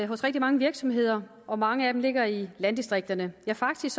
hos rigtig mange virksomheder og mange af dem ligger i landdistrikterne faktisk